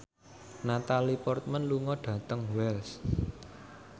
Natalie Portman lunga dhateng Wells